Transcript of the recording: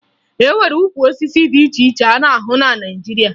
E nwere ukwu osisi dị iche iche a na-ahụ na Naịjirịa